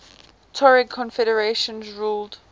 tuareg confederations ruled